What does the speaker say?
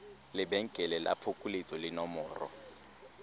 lebenkele la phokoletso le nomoro